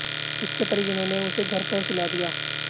इससे परिजनों ने उसे घर पर सुला दिया